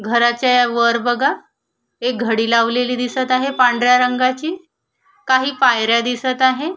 घराच्या वर बघा एक घडी लावलेली दिसत आहे पांढऱ्या रंगाची काही पायऱ्या दिसत आहे.